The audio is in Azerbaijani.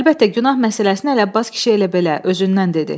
Əlbəttə, günah məsələsini Ələbbas kişi elə belə özündən dedi.